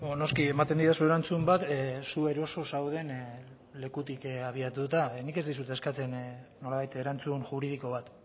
noski ematen didazu erantzun bat zu eroso zauden lekutik abiatuta nik ez dizut eskatzen nolabait erantzun juridiko bat